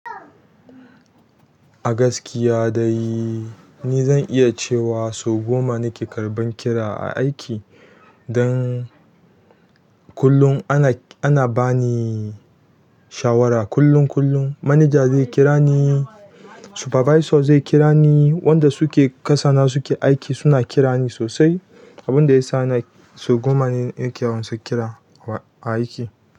A gaskiya dai ni zan iya cewa sau goma nake karɓan kira a aiki. Dan kullum ana bani shawara kullum kullum. Manaja zai kira ni, supervisor zai kira ni, wanda suke kasana suke aiki suna kirani sosai. Abin da yasa sau goma ne nake yawan ansan kira a aiki.